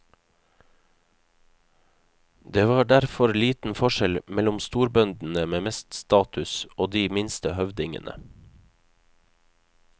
Det var derfor liten forskjell mellom storbøndene med mest status og de minste høvdingene.